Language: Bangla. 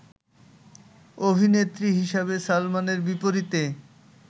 অভিনেত্রী হিসেবে সালমানের বিপরীতে